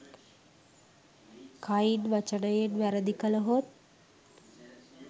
කයින් වචනයෙන් වැරදි කළහොත්